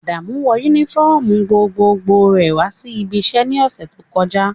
Adamu wọ unifọmú gbogbogbò rẹ wa si ibi iṣẹ ni ọsẹ to kọja.